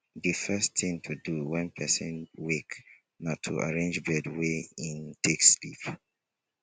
di first thing to do when person wake na to arrange bed wey im take sleep